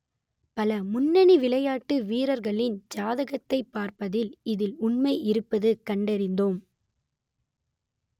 பல முன்னணி விளையாட்டு வீரர்களின் ஜாதகத்தைப் பார்த்ததில் இதில் உண்மை இருப்பது கண்டறிந்தோம்